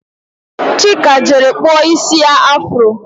Chika jere kpụọ isi ya afuro